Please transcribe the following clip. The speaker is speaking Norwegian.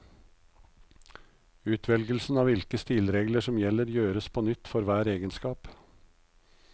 Utvelgelsen av hvilke stilregler som gjelder gjøres på nytt for hver egenskap.